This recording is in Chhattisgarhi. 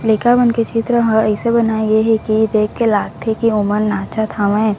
लइका मन के चित्र ह ऐसन बनाई है कि देख के लागथे कि ओमननाचत हवे।